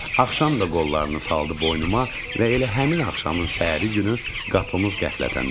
Axşam da qollarını saldı boynuma və elə həmin axşamın səhəri günü qapımız qəflətən döyüldü.